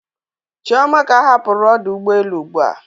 Chioma ka hapụrụ ọdụ ụgbọ elu ụgbụa.